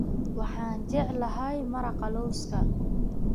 Waxaan jeclahay maraqa lawska